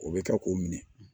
O bɛ taa k'o minɛ